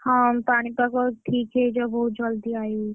ହଁ ପାଣିପାଗ ଠିକ୍ ହେଇଯାଉ ବହୁତ୍ ଜଲ୍‌ଦି। ରହିଲି!